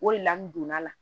O de la n donna la